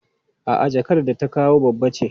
A'a jakar da ta kawo babba ce.